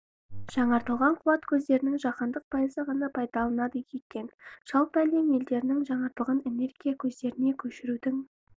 жаңартылған қуат көздерін жаһанның пайызы ғана пайдаланады екен жалпы әлем елдерінің жаңартылған энергия көздеріне көшірудің